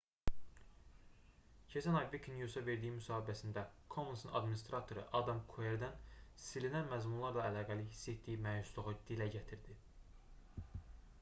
keçən ay wikinews-a verdiyi müsahibəsində commons"un adminstratoru adam kuerden silinən məzmunlarla əlaqəli hiss etdiyi məyusluğu dilə gətirdi